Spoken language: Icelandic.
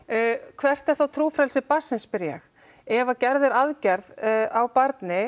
hvert er þá trúfrelsi barnsins spyr ég ef gerð er aðgerð á barni